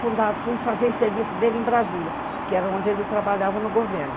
Fundar, foi fazer serviço dele em Brasília, que era onde ele trabalhava no governo.